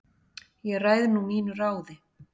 Ég ræð nú mínu ráði